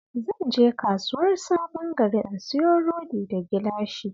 Zan je Kasuwar Sabon Gari in siyo rodi da gilashi